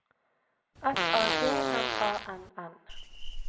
F A G M A N N